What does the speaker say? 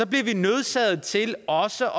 bliver vi nødsaget til også